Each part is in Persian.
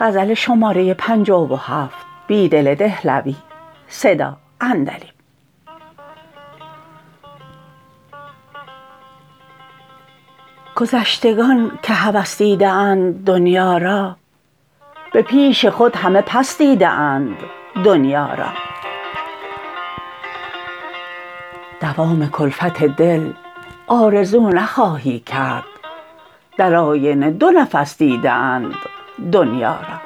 گذشتگان که هوس دیده اند دنیا را به پیش خود همه پس دیده اند دنیا را دوام کلفت دل آرزو نخواهی کرد در آینه دو نفس دیده اند دنیا را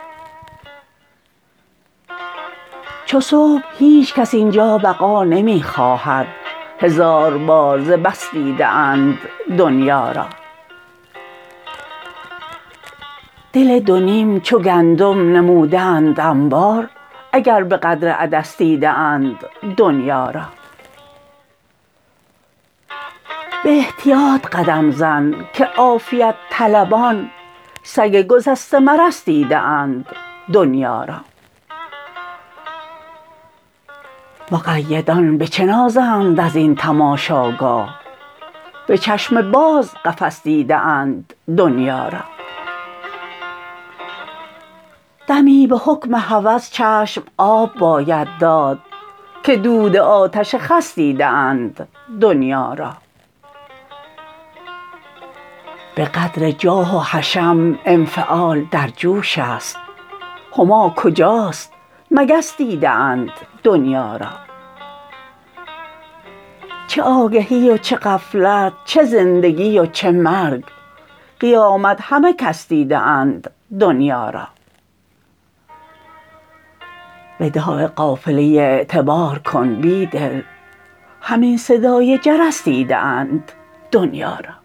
چوصبح هیچ کس اینجا بقا نمی خواهد هزار بار ز بس دیده اند دنیا را دل دو نیم چوگندم نموده اند انبار اگر به قدر عدس دیده اند دنیا را به احتیاط قدم زن که عافیت طلبان سگ گسسته مرس دیده اند دنیا را مقیدان به چه نازند ازین تماشاگاه به چشم باز قفس دیده انددنیا را دمی به حکم هوس چشم آب باید داد که دود آتش خس دیده اند دنیا را به قدر جاه و حشم انفعال در جوش است هما کجاست مگس دیده اند دنیا را چه آگهی وچه غفلت چه زندگی وچه مرگ قیامت همه کس دیده اند دنیا را وداع قافله اعتبارکن بیدل همین صدای جرس دیده اند دنیا را